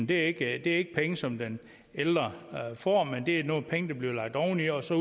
det er ikke penge som den ældre får men det er nogle penge der bliver lagt oveni og så